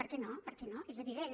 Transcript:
per què no per què no és evident